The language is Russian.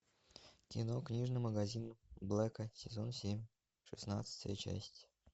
кино книжный магазин блэка сезон семь шестнадцатая часть